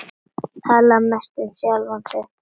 Tala mest um sjálfan sig.